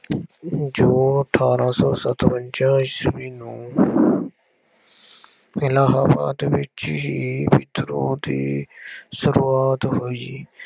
ਜੂਨ ਅਠਾਰਾਂ ਸੌ ਸਤਵੰਜ਼ਾ ਈਸਵੀ ਨੂੰ ਇਲਾਹਾਬਾਦ ਵਿੱਚ ਹੀ ਵਿਦਰੋਹ ਦੀ ਸ਼ੁਰੂਆਤ ਹੋਈ।